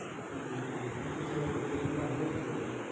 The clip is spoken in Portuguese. É incrível que eu tenha eu tenho um tio mais novo que eu, né?